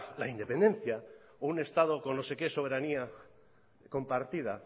la independencia o un estado con no se qué soberanía compartida